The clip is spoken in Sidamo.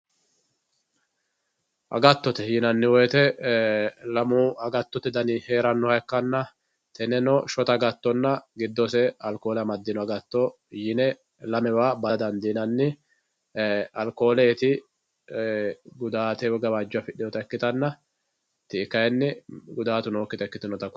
agattote yinanni woyiite lamu agattote dani heerannoha ikkanna tenneno shota agatonna giddose alkoole amadino agatto yine lamewa bada dandiinanni alkooleeti gudaate woyi gawajjo afixiyoota ikkitanna ti"i kaayiini gudaatu nookita ikkitinota kultanno.